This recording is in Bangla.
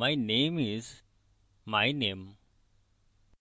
my name is my name